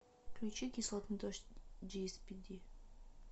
включи кислотный дождь джиэспиди